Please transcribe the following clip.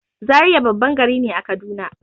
Zaria babban gari ne a kaduna